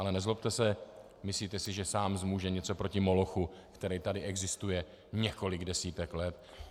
Ale nezlobte se, myslíte si, že sám zmůže něco proti molochu, který tady existuje několik desítek let?